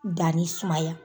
Danni sumaya.